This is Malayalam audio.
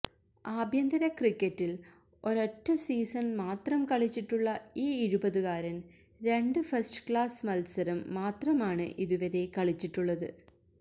ആഭ്യന്തര ക്രിക്കറ്റില് ഒരൊറ്റ സീസണ് മാത്രം കളിച്ചിട്ടുള്ള ഈ ഇരുപതുകാരന് രണ്ട് ഫസ്റ്റ് ക്ലാസ് മത്സരം മാത്രമാണ് ഇതുവരെ കളിച്ചിട്ടുള്ളത്